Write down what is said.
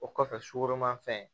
O kɔfɛ sukoromafɛn